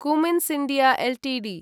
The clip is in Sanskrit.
Cummins India Ltd